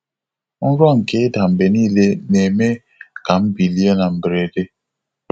Nrọ nke ịda mgbe niile na-eme ka m bilie na mberede.